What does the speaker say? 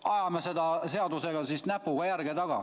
Ajame siis selles seaduses näpuga järge.